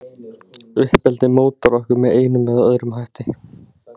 Uppeldið mótar okkur með einum eða öðrum hætti.